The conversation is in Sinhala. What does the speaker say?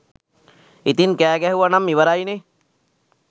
ඉතින් කෑ ගැහුවනම් ඉවරයිනේ